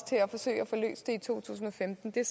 til at forsøge at få løst det i to tusind og femten det er